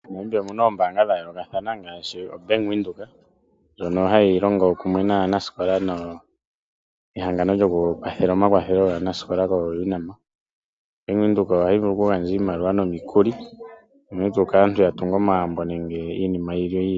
MoNamibia omuna oombaanga odhindji ngaashi obank Windhoek